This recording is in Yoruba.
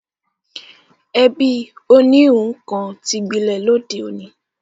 Ẹ̀bí oníhun kan ti gbilẹ̀ lóde òní